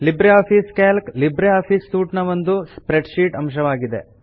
Libre office Calc LibreOffice suite ನ ಒಂದು spreadsheet ಅಂಶವಾಗಿದೆ